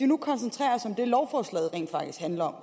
nu koncentrere os om det lovforslaget rent faktisk handler om